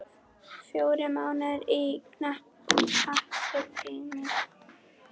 Fjórir mánuðir eru knappur tími.